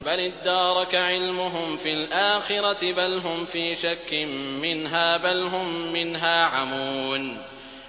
بَلِ ادَّارَكَ عِلْمُهُمْ فِي الْآخِرَةِ ۚ بَلْ هُمْ فِي شَكٍّ مِّنْهَا ۖ بَلْ هُم مِّنْهَا عَمُونَ